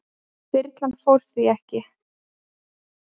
Þyrlan fór því ekki.